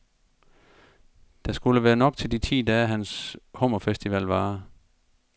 Der skulle være nok til de ti dage, hans hummerfestival varer.